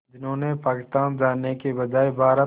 जिन्होंने पाकिस्तान जाने के बजाय भारत